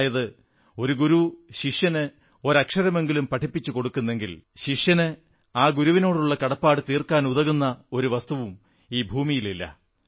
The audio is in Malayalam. അതായത് ഒരു ഗുരു ശിഷ്യന് ഒരക്ഷരമെങ്കിലും പഠിപ്പിച്ചു കൊടുക്കുന്നെങ്കിൽ ശിഷ്യന് ആ ഗുരുവിനോടുള്ള കടപ്പാടു തീർക്കാനുതകുന്ന ഒരു വസ്തുവും ഈ ഭൂമിയിലില്ല